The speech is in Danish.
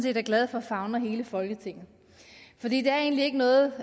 er glad for favner hele folketinget for det er egentlig ikke noget